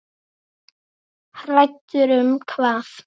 Hræddur um hvað?